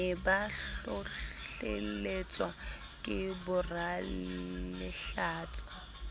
ne ba hlohlelletswa ke boralehlatsa